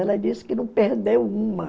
Ela disse que não perdeu uma.